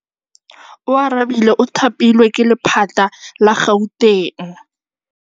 Oarabile o thapilwe ke lephata la Gauteng.